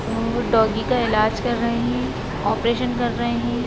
और डॉगी का इलाज कर रहे हैं ऑपरेशन कर रहे हैं।